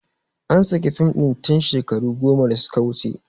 An saki fim ɗin tin shekaru goma da su ka wuce